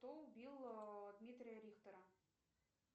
кто убил дмитрия рихтера